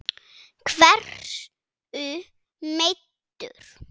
Hversu meiddur?